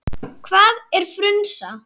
Hvað er frunsa?